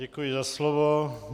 Děkuji za slovo.